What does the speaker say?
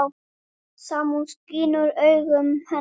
Samúð skín úr augum hennar.